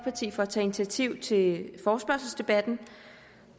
at tage initiativ til forespørgselsdebatten